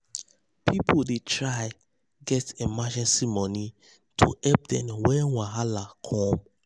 people dey try try get emergency money to help dem when wahala come.